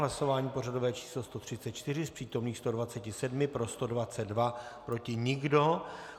Hlasování pořadové číslo 134, z přítomných 127 pro 122, proti nikdo.